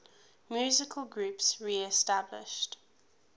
musical groups reestablished